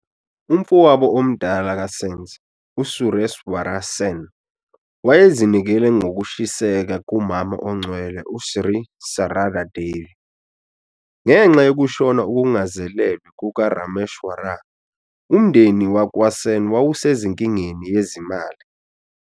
Umfowabo omdala kaSens u-Sureswar Sen wayezinikele ngokushiseka kuMama Ongcwele uSri Sarada Devi. Ngenxa yokushona okungazelelwe kukaRameshwar, umndeni wakwaSen wawusenkingeni yezimali.